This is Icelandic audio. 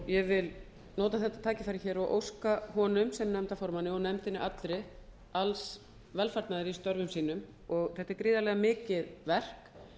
ég vil nota þetta tækifæri hér og óska honum sem nefndarformanni og nefndinni allri alls velfarnaðar í störfum sínum þetta er gríðarlega mikið verk